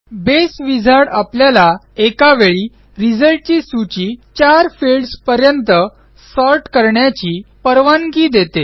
बसे wizard आपल्याला एकावेळी रिझल्टची सूची चार फिल्डस पर्यंत सॉर्ट करण्याची परवानगी देते